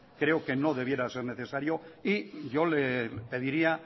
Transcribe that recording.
creo que no debiera ser necesario yo le pediría